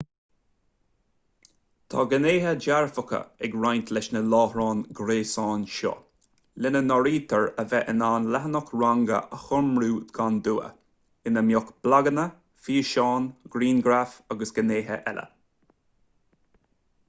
tá gnéithe dearfacha ag roinnt leis na láithreáin ghréasáin seo lena n-áirítear a bheith in ann leathanach ranga a chumrú gan dua ina mbeidh blaganna físeáin grianghraif agus gnéithe eile